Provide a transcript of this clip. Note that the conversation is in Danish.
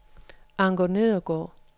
Anker Nedergaard